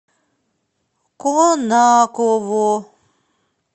конаково